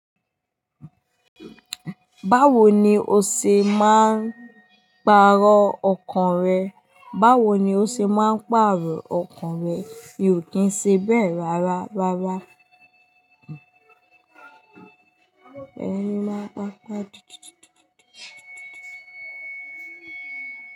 Báwo ni ó ṣe máa ń pàrọ̀ ọkàn rẹ? Báwo ni ó ṣe máa ń pàrọ̀ ọkàn rẹ? Mi ò kí ń ṣe be rárá, rárá. Ẹni máa ń pa ń pa dìtìtìtìtìtì.